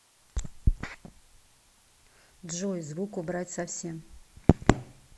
джой звук убрать совсем